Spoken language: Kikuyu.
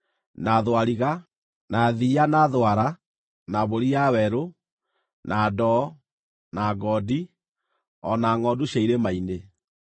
na thwariga, na thiiya, na thwara, na mbũri ya werũ, na ndoo, na ngondi, o na ngʼondu cia irĩma-inĩ.